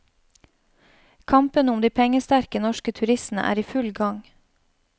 Kampen om de pengesterke norske turistene er i full gang.